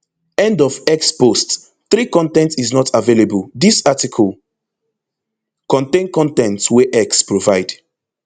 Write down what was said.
end of x post three con ten t is not available dis article contain con ten t wey x provide